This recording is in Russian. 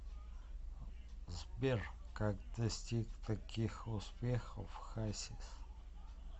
сбер как достиг таких успехов хасис